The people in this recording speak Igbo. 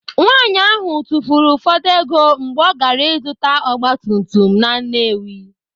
Nwaanyị ahụ tụfuru ụfọdụ ego mgbe ọ gaara ịzụta ogbatumtum na Nnewi.